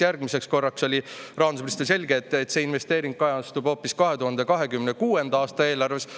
Järgmiseks korraks oli rahandusministril selge, et see investeering kajastub hoopis 2026. aasta eelarves.